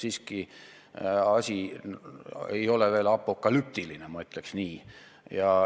Siiski asi ei ole veel apokalüptiline, ma ütleks nii.